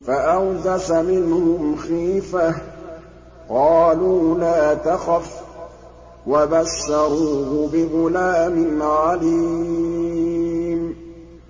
فَأَوْجَسَ مِنْهُمْ خِيفَةً ۖ قَالُوا لَا تَخَفْ ۖ وَبَشَّرُوهُ بِغُلَامٍ عَلِيمٍ